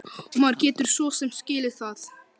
Og maður getur svo sem skilið það.